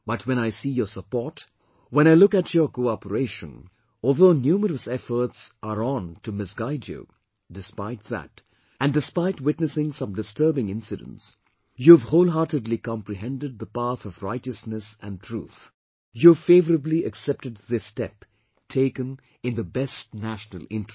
But when I see your support, when I look at your cooperation; although numerous efforts are on to misguide you, despite that, and despite witnessing some disturbing incidents, you have whole heartedly comprehended the path of righteousness and truth, you have favourably accepted this step taken in the best national interest